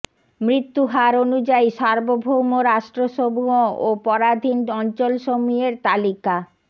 মৃত্যু হার অনুযায়ী সার্বভৌম রাষ্ট্রসমূহ ও পরাধীন অঞ্চলসমূহের তালিকা